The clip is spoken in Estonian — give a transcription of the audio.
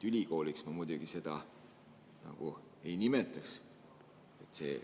Ülikooliks ma muidugi seda nagu ei nimetaks.